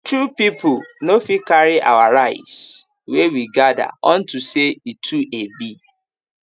two people no fit carry our rice wey we gather unto say e e too heavy